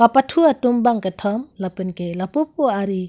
kepathu atum bang kethom lapenke lapupu ari--